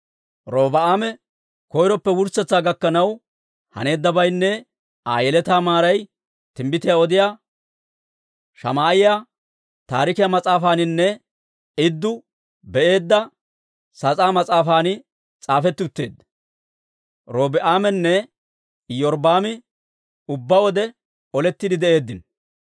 Robi'aame koyroppe wurssetsaa gakkanaw haneeddabaynne Aa yeletaa maaray Timbbitiyaa Odiyaa Shamaa'iyaa Taarikiyaa Mas'aafaaninne Idduu Be'eedda sas'aa mas'aafan s'aafetti utteedda. Robi'aaminne Iyorbbaami ubbaa wode olettiide de'eeddino.